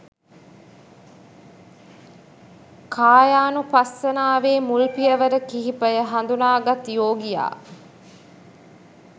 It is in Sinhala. කායානුපස්සනාවේ මුල් පියවර කිහිපය හඳුනාගත් යෝගියා